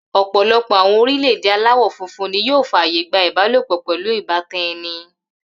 Ò̩pò̩lo̩pò̩ àwo̩n orílè̩-èdè aláwò̩ funfun ni yóò fàyè gba ìbálòpò̩ pè̩lú ìbátan e̩ni